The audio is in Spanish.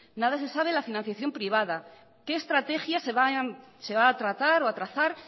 nada se sabe de la financiación privada que estrategia se va a tratar o a trazar